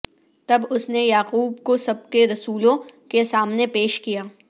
تب اس نے یعقوب کو سب کے رسولوں کے سامنے پیش کیا